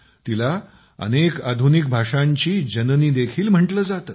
तिला अनेक आधुनिक भाषांची जननी देखील म्हटले जाते